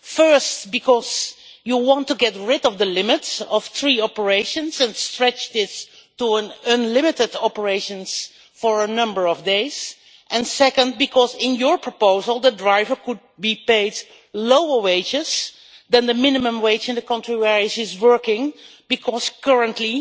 firstly because it wants to get rid of the limits of three operations and stretch this to unlimited operations for a number of days, and secondly because under the proposal a driver could be paid lower wages than the minimum wage in the country where he is working because currently